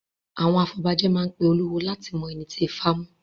Àwọn afọbajẹ máa pe olúwo láti mọ ẹni ti Ifá mu.